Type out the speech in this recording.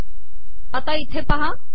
आता इथे पहा